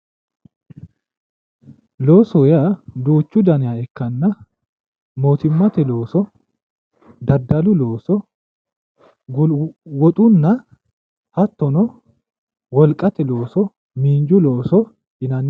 Loosoho yaa duuchu danniha ikkanna mootimmate looso ,daddalu looso, wolu woxunna hattono wolqate looso miinju looso yinnanni